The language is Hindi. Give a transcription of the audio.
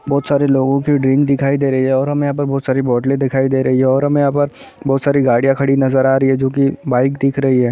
बहोत सारे लोगो की डीन दिखाई दे रही हैं और हमे यहाँ पर बहोत सारी बोतले दिखाई दे रही हैं और हमें यहाँ पर बहोत सारी गाड़िया खड़ी नज़र आ रही हैं जो कि बाइक दिख रही हैं।